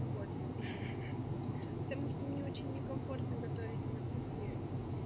ну вот потому что мне очень некомфортно готовить на кухне